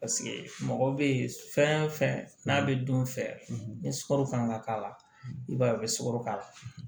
Paseke mɔgɔ bɛ fɛn fɛn n'a bɛ don fɛ ni sukaro fana man k'a la i b'a ye u bɛ sukaro k'a la